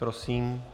Prosím.